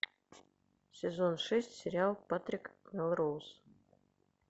сезон шесть сериал патрик мелроуз